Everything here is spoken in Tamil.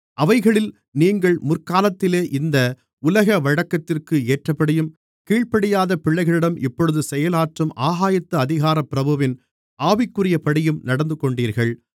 அவைகளில் நீங்கள் முற்காலத்திலே இந்த உலக வழக்கத்திற்கு ஏற்றபடியும் கீழ்ப்படியாத பிள்ளைகளிடம் இப்பொழுது செயலாற்றும் ஆகாயத்து அதிகாரப் பிரபுவின் ஆவிக்குரியபடியும் நடந்துகொண்டீர்கள்